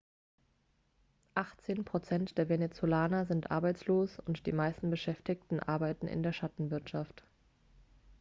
achtzehn prozent der venezolaner sind arbeitslos und die meisten beschäftigten arbeiten in der schattenwirtschaft